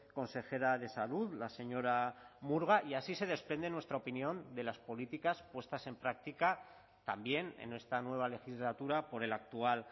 consejera de salud la señora murga y así se desprende en nuestra opinión de las políticas puestas en práctica también en esta nueva legislatura por el actual